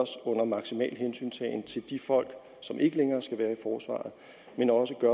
under maksimal hensyntagen til de folk som ikke længere skal være i forsvaret men også